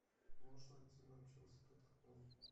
можешь найти нам челси тоттенхэм